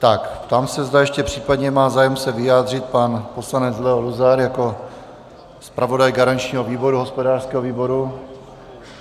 Tak, ptám se, zda ještě případně má zájem se vyjádřit pan poslanec Leo Luzar jako zpravodaj garančního výboru hospodářského výboru.